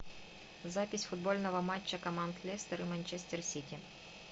запись футбольного матча команд лестер и манчестер сити